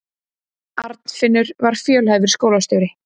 Arnfinnur var fjölhæfur skólastjóri.